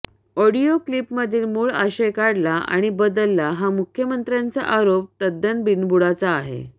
audio क्लिपमधील मूळ आशय काढला आणि बदलला हा मुख्यमंत्र्यांचा आरोप तद्दन बिनबुडाचा आहे